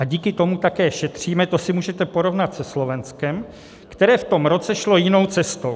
A díky tomu také šetříme, to si můžete porovnat se Slovenskem, které v tom roce šlo jinou cestou.